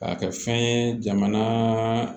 K'a kɛ fɛn ye jamana